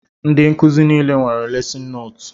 Ndị nkụzi nile nwere lesin nootu